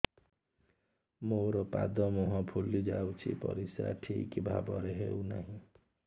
ମୋର ପାଦ ମୁହଁ ଫୁଲି ଯାଉଛି ପରିସ୍ରା ଠିକ୍ ଭାବରେ ହେଉନାହିଁ